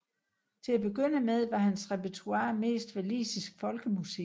Til at begynde med var hans repertoire mest walisisk folkemusik